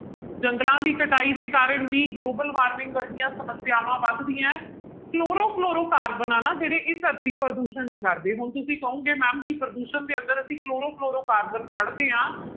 ਜੰਗਲਾਂ ਦੀ ਕਟਾਈ ਦੇ ਕਾਰਨ ਵੀ global warming ਵਰਗੀਆਂ ਸਮੱਸਿਆਵਾਂ ਵੱਧਦੀਆਂ ਹੈ ਕਲੋਰੋ ਫਲੋਰੋ ਕਾਰਬਨ ਆਂ ਨਾ ਜਿਹੜੇ ਇਹ ਧਰਤੀ ਪ੍ਰਦੂਸ਼ਣ ਨੀ ਕਰਦੇ ਹੁਣ ਤੁਸੀਂ ਕਹੋਂਗੇ ma'am ਕਿ ਪ੍ਰਦੂਸ਼ਣ ਦੇ ਅੰਦਰ ਅਸੀਂ ਕਲੋਰੋ ਫਲੋਰੋ ਕਾਰਬਨ ਪੜ੍ਹਦੇ ਹਾਂ